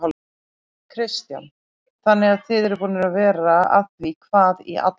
Kristján: Þannig að þið eruð búnir að vera að því hvað í allan dag?